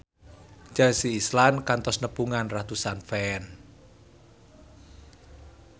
Chelsea Islan kantos nepungan ratusan fans